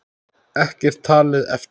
Ekkert talið eftir.